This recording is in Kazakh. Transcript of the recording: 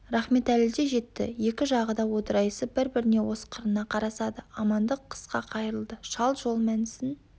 рахметәлі де жетті екі жағы да одырайысып бір-біріне осқырына қарасады амандық қысқа қайырылды шал жол мәнісін